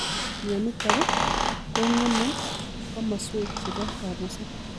Mionitok komgemee komasweek chepo kabuseet .